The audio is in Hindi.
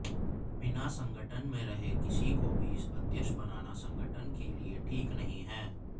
बिना संगठन में रहे किसी को भी अध्यक्ष बनाना संगठन के लिए ठीक नहीं है